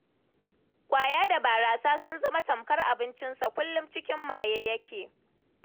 Ƙwaya da barasa sun zama tamkar abincinsa, kullum a cikin maye yake.